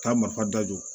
Taa marifa dajɔ